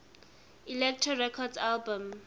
elektra records albums